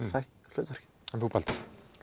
hlutverkið en þú Baldur